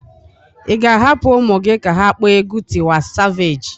Ị ga-ahapụ ụmụ gị ka ha kpọọ egwu Tiwa Savage?